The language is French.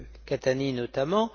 Catania notamment.